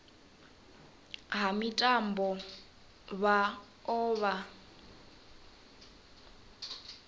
ha mitambo vha o vha